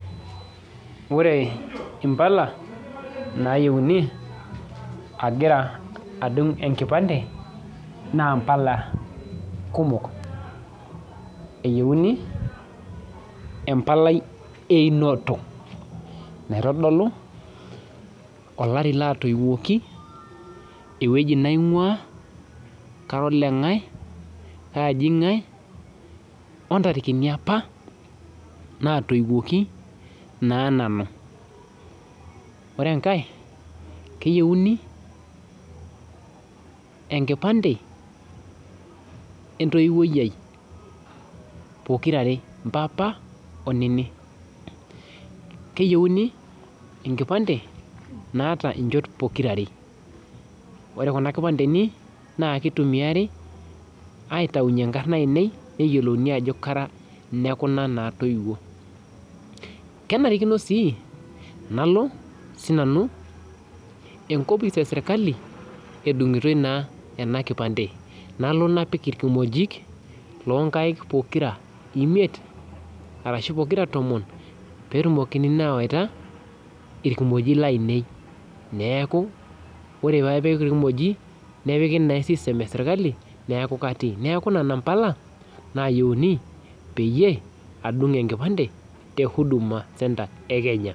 Ore mbala nayieuni agira adungu enkipande na mbala kumok eyieuni embalai einoto naitodolu olari latoiunyeki ewoi naingia kajii ngae ntarikini apa natoiwoki ore enkae keyieuni enkipande entouwoi empapa onini keyieuni enkipande naata nchot pokira aare ore kuna kipandeni na kitumiai aitau nkarn aainei neyiolouuni ajo kara lekunatoiwuo kenarikino si nalo sinanu enkopis eserkali edungotoi na enakipande nanu napik irkimojik lonkaik pokira imiet ashu pokira tomon petumokini na awaita irkimojik lainei neaku nepiki e system neaku nona pala eyieuni pedunguni enkipande te huduma centre e kenya.